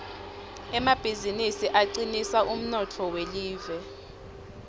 emabizinisi acinisa umnotfo welive